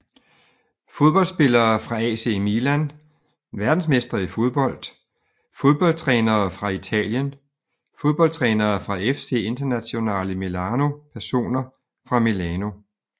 Fodboldspillere fra AC Milan Verdensmestre i fodbold Fodboldtrænere fra Italien Fodboldtrænere fra FC Internazionale Milano Personer fra Milano